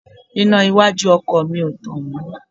Iná iwájú ọkọ̀ mi ò tàn mọ́